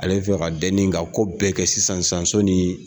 Ale fɛ ka denni ka ko bɛɛ kɛ sisan sɔnni